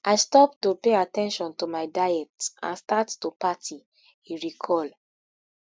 i stop to pay at ten tion to my diet and start to party e recall